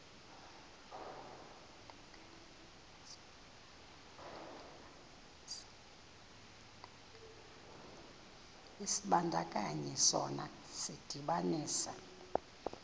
isibandakanyi sona sidibanisa